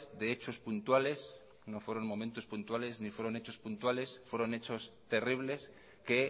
de hechos puntuales no fueron momentos puntuales ni fueron hechos puntuales fueron hechos terribles que